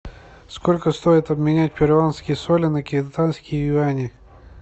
сколько стоит обменять перуанские соли на китайские юани